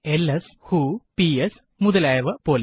LS വ്ഹോ PS മുതലായവ പോലെ